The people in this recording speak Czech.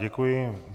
Děkuji.